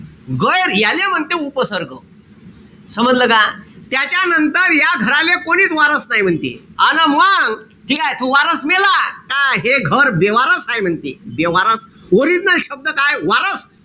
गैर याले म्हणते उपसर्ग. समजलं का? त्याच्यानंतर या घराले कोणीच वारस नाई म्हणते. अन मंग ठीकेय? त वारस मेला का हे घर बेवारस हाये म्हणते. बेवारस. Original शब्द काय? वारस.